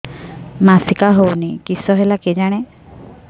ମାସିକା ହଉନି କିଶ ହେଲା କେଜାଣି